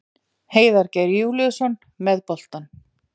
Heiðar Geir Júlíusson með boltann.